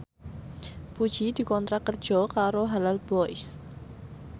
Puji dikontrak kerja karo Halal Boys